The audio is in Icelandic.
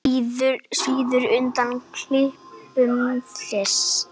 Svíður undan klipum þess.